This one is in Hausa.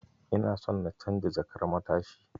Ina son na canja jakar matashin.